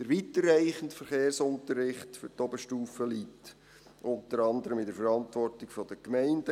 Der weiterreichende Verkehrsunterricht für die Oberstufe liegt unter anderem in der Verantwortung der Gemeinden.